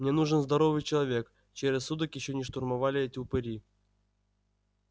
мне нужен здоровый человек чей рассудок ещё не штурмовали эти упыри